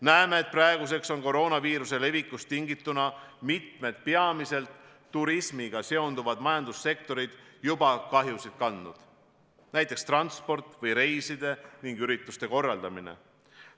Näeme, et praeguseks on koroonaviiruse levikust tingituna mitmed peamiselt turismiga seonduvad majandussektorid juba kahjusid kandnud, näiteks transport ning reiside ja ürituste korraldamine.